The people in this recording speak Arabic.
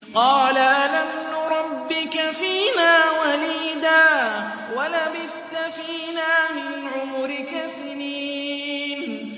قَالَ أَلَمْ نُرَبِّكَ فِينَا وَلِيدًا وَلَبِثْتَ فِينَا مِنْ عُمُرِكَ سِنِينَ